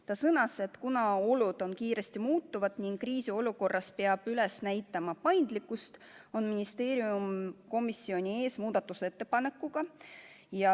Ta sõnas, et kuna olud muutuvad kiiresti ning kriisiolukorras peab üles näitama paindlikkust, on ministeerium komisjoni ees selle muudatusettepanekuga.